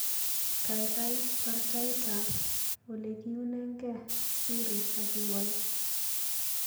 Gaigai baar taitab olegiunenge Siri agiwal